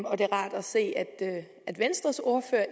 og det er rart at se at venstres ordfører